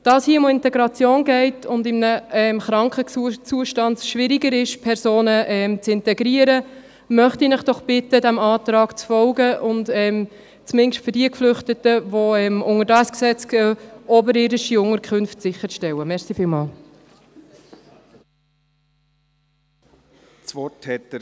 Da es hier um Integration geht und es im kranken Zustand schwieriger ist, Personen zu integrieren, möchte ich Sie doch bitten, diesem Antrag zu folgen und zumindest für jene Geflüchteten, welche unter diesem Gesetz laufen, oberirdische Unterkünfte sicherzustellen.